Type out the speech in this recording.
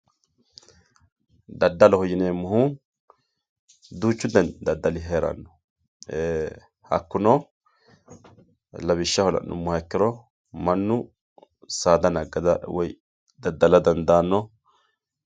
daddaloho yineemohu duuchu dani daddali heeranno hakkuno lawishshaho la'numoha ikkiro mannu saada nagada woye daddala dandaanno.